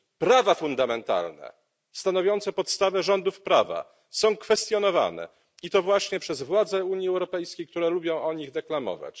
Prawa fundamentalne stanowiące podstawę rządów prawa są kwestionowane, i to właśnie przez władze Unii Europejskiej, które lubią o nich deklamować.